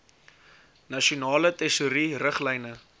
nasionale tesourie riglyne